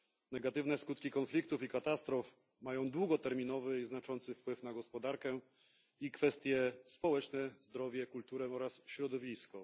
Negatywne skutki konfliktów i katastrof mają długoterminowy i znaczący wpływ na gospodarkę, kwestie społeczne, zdrowie, kulturę oraz środowisko.